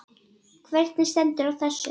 Hvernig stendur á þessu?.